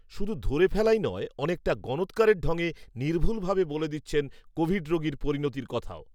শুধু ধরে ফেলাই নয়, অনেকটা গণৎকারের ঢঙে নির্ভুলভাবে বলে দিচ্ছেন কোভিড রোগীর পরিণতির কথাও